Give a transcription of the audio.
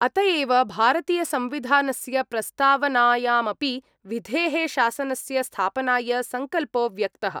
अत एव भारतीयसंविधानस्य प्रस्तावनायामपि विधे: शासनस्य स्थापनाय संकल्पो व्यक्तः।